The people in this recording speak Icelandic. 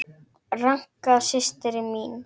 Ranka systir mín.